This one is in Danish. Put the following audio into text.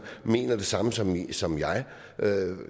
mener det samme som som jeg